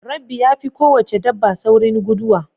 Rabbi ya fi ko wace dabba saurin guduwa